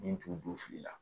Min t'u don fili la